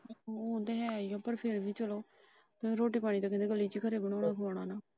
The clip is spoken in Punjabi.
ਉਹ ਤਾਂ ਹੈ ਈ ਏ ਪਰ ਫਿਰ ਵੀ ਚਲੋ ਰੋਟੀ ਪਾਣੀ ਤਾਂ ਗਲੀ ਚ ਕਰੂਗਾ ਉਹ ਤਾਂ ਖੁਆਣਾ ਨਾ।